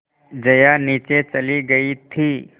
जया नीचे चली गई थी